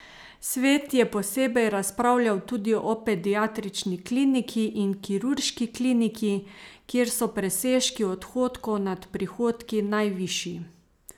Svet je posebej razpravljal tudi o pediatrični kliniki in kirurški kliniki, kjer so presežki odhodkov nad prihodki najvišji.